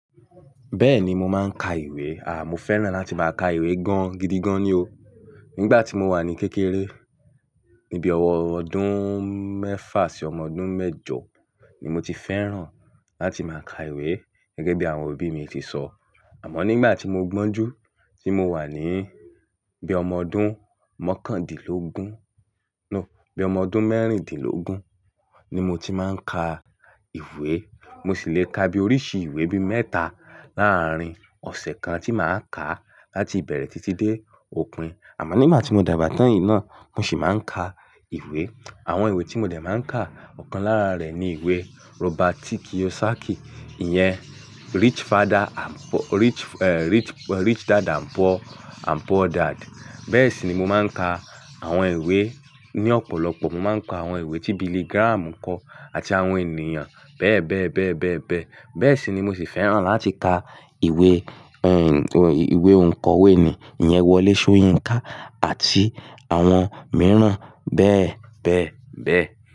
Bẹ́ẹ̀ni, mo máa ń ka ìwé. Mo fẹ́ràn láti máa ka ìwé gan-gidigan ni o. Nígbà tí mo wà ní kékeré, níbi ọwọ́ ọdún mẹ́fà sí ọmọ ọdún mẹ́jọ ni mo ti fẹ́ràn láti máa ka ìwé gẹ́gẹ́ bí àwọn òbí mi ti sọ. Àmọ́ nígbà tí mo gbọ́n jú, tí mo wà ní bí ọmọ ọdún mọ́kàndínlógún, no, bí ọmọ ọdún mẹ́rìndínlógún ni mo ti máa ń ka ìwé. Mo sì le ka bí oríṣi ìwé bí mẹ́ta láàárín ọ̀sẹ̀ kan tí màá ka láti bẹ̀rẹ̀ títí dé òpin. Àmọ́ nígbà tí mo dàgbà tán yìí náà, mo sì máa ń ka ìwé. Àwọn ìwé tí mo dẹ̀ máa ń ka ọ̀kan lára rẹ̀ ni ìwé Robert T. Kiyosaki, ìyẹn Rich Father and-- Rich, eh, Rich, Rich Dad and Poor and Poor Dad. Bẹ́ẹ̀ sì ni mo máa ń ka àwọn ìwé ní ọ̀pọ̀lọpọ̀. Mo máa ń ka àwọn ìwé tí Billy Graham kọ àti àwọn ènìyàn bẹ́ẹ̀ bẹ́ẹ̀ bẹ́ẹ̀ bẹ́ẹ̀ bẹ́ẹ̀. Bẹ́ẹ̀ sì ni mo sì fẹ́ràn láti ka ìwé, ẹ́ n, ìwé òǹkọ́wé ni, ìyẹn Wọlé Soyinka àti àwọn mìíràn bẹ́ẹ̀ bẹ́ẹ̀ bẹ́ẹ̀